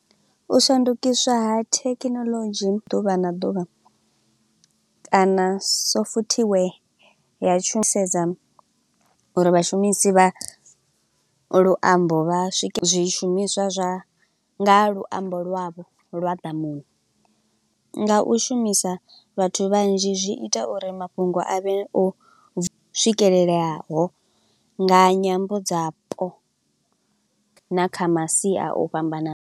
U shandukiswa ha thekinoḽodzhi ḓuvha na ḓuvha, kana so futhi we ya tshumisedzo uri vhashumisi vha luambo, vha swike zwishumiswa zwa nga luambo lwavho lwa ḓamuni, nga u shumisa vhathu vhanzhi zwi ita uri mafhungo a vhe o swikeleleaho, nga nyambo dzapo. Na kha masia o fhambananaho.